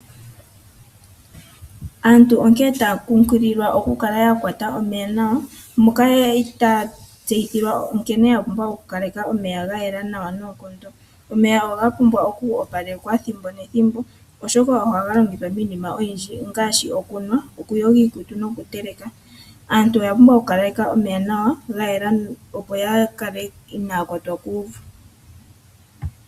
Aantu onkene taya kunkililwa okukala ya kwata omeya nawa, moka ya li taya tseyithilwa nkene ya pumbwa okukaleka omeya ga yela nawa noonkondo. Omeya ohaga pumbwa oku opalekwa ethimbo nethimbo, oshoka ohaga longithwa miinima oyindji ngaashi okunwa, okuyoga iikutu nokuteleka. Aantu oya pumbwa okukaleka omeya nawa, ga yela, opo ya kale inaya kwatwa kuuvu.